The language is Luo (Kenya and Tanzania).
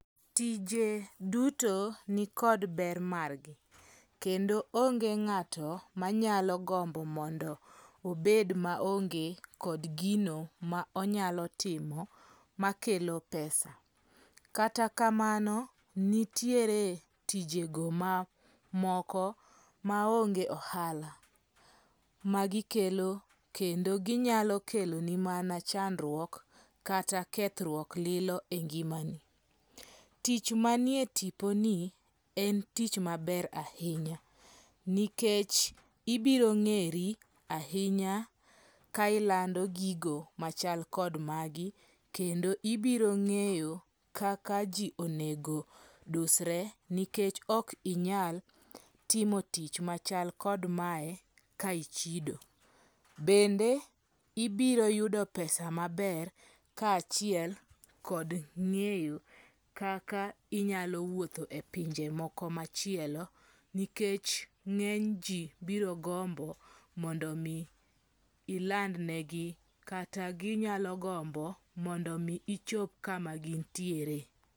Tije duto nikod ber margi, kendo onge nga'to manyalo gombo mondo obed maonge kod gino ma onyalo timo makelo pesa kata kamano, nitiere tijego ma moko maonge ohala magikelo kendo ginyalo keloni mana chandruok kata kethruok lilo e ngimani, tich manie tiponi en tich maber ahinya nikech ibirongeri ahinya ka ilando gigo machal kod magi kendo ibiro nge'yo ka kaka ji onego dusre ni kech ka okinyal timo tich machal kod mae kaichido, bende ibiroyudo pesa maber ka chiel kod ngeyo kaka inyalo wuotho e pinje moko machielo nikech ngeny ji birogombo mondo mi iland negi kata ginyalo gombo mondo mi ichop kama gintiere